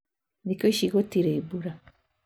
Thiku ici gũtirĩ mbura